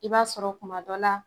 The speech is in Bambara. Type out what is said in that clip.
I b'a sɔrɔ kuma dɔ la